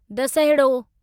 दसिहड़ो